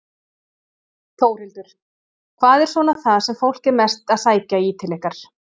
Þórhildur: Hvað er svona það sem fólk er mest að sækja í til ykkar?